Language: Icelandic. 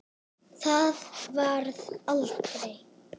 Það varð aldrei!